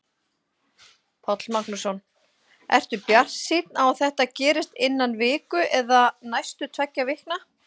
Páll Magnússon: Ertu bjartsýnn á að þetta gerist innan viku eða næstu tveggja vikna?